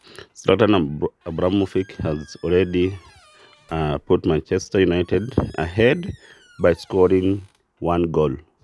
Ore tinakata Zlatan Ibrahimovic neidipa atipika Manchester United dukuya to bao obo.